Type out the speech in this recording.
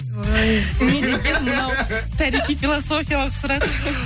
не деген мынау тарихи философиялық сұрақ